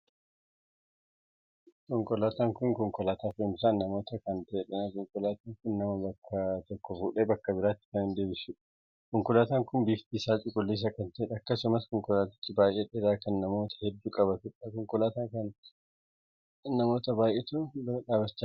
Konkolaataan kun konkolaataa fe'umsaa namootaa kan taheedha. Konkolaataan kun nama bakka tokkoo fuudhee bakka biraatti kan deddeebisuudha. Konkolaataan kun bifti isaa cuquliisa kan taheedha. Akkasumas konkolaatichi baay'ee dheeraa kan namoota hedduu qabatudha. konkolaataa kan bira namoota baay'eetu bira dhaabbachaa jira.